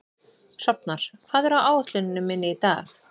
Hrafnar, hvað er á áætluninni minni í dag?